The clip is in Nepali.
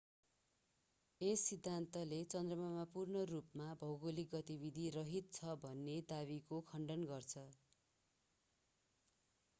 यस सिद्धान्तले चन्द्रमा पूर्ण रूपमा भौगोलिक गतिविधि रहित छ भन्ने दावीको खण्डन गर्दछ